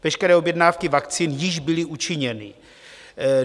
Veškeré objednávky vakcín již byly učiněny.